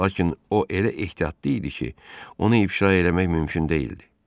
Lakin o elə ehtiyatlı idi ki, onu ifşa eləmək mümkün deyildi.